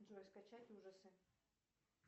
джой скачать ужасы